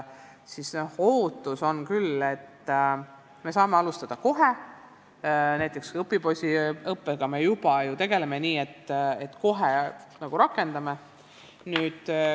Ootus on küll, et me saame alustada kohe, näiteks õpipoisiõppega me juba ju tegeleme, nii et kohe nagu rakendame.